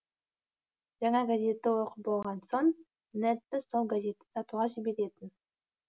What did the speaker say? жаңа газетті оқып болған соң нэдті сол газетті сатуға жіберетін